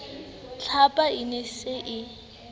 tlhapa e ne e sa